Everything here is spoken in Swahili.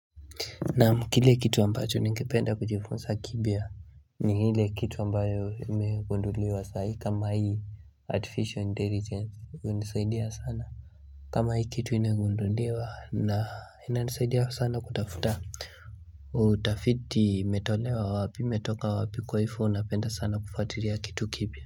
Naam kile kitu ambacho ningependa kujifunsa kipia ni hile kitu ambayo imegunduliwa saa hii kama hii artificial intelligence unisaidia sana kama hii kitu inegundulewa na ina nisaidia sana kutafuta utafiti imetolewa wapi imetoka wapi kwa hivo napenda sana kufatiria kitu kipia.